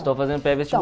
Estou fazendo